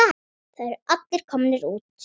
Það eru allir komnir út.